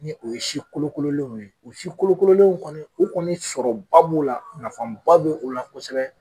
Ni o ye si kolokololenw ye u si kolokololenw kɔni u kɔni sɔrɔba b'u la nafaba bɛ u la kosɛbɛ.